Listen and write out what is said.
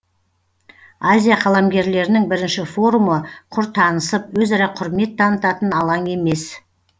азия қаламгерлерінің бірінші форумы құр танысып өзара құрмет танытатын алаң емес